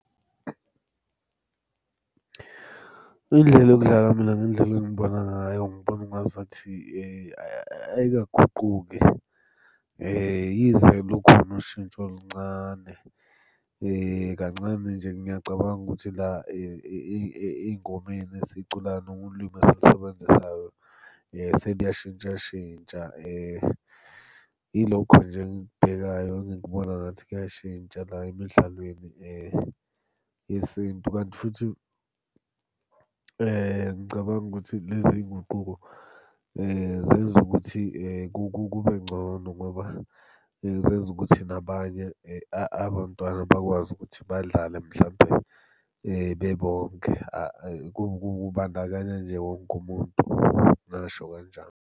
Indlela yokudlala mina ngendlela engibona ngayo, ngibona ungazathi ayikaguquki. Yize lukhona ushintsho oluncane kancane nje ngiyacabanga ukuthi la ey'ngomeni esiculayo noma ulimi esilusebenzisayo, seliyashintshashintsha. Ilokho nje, engikubhekayo engikubona ngathi kuyashintsha la emidlalweni yesintu. Kanti futhi ngicabanga ukuthi lezi nguquko zenza ukuthi kube ngcono ngoba zenza ukuthi nabanye abantwana bakwazi ukuthi badlale mhlampe bebonke. Kubandakanya nje wonke umuntu, ngingasho kanjalo.